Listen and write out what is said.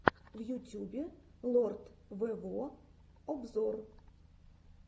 в ютюбе лорд вево обзор